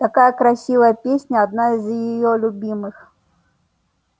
такая красивая песня одна из её любимых